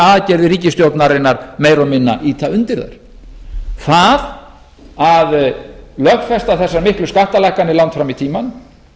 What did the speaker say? aðgerðir ríkisstjórnarinnar meira og minna ýta undir þær það að lögfesta þessar miklu skattalækkanir langt fram í tímann